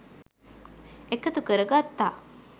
එකතු කර ගත්තා